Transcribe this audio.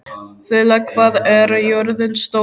Þula, hvað er jörðin stór?